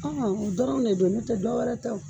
o dɔrɔn de don n'o tɛ dɔ wɛrɛ tɛ